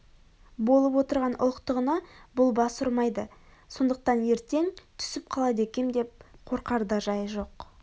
болып отырған ұлықтығына бұл бас ұрмайды сондықтан ертең түсіп қалады екем деп қорқар да жайы жоқ